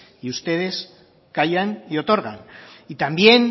ustedes callan y otorgan también